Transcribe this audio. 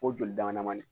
Fo joli dama damani